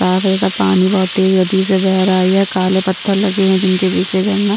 Pavel का पानी बहुत तेज गति से बह रहा है यह काले पत्थल लगे हुए है जिनके बिच से झरना --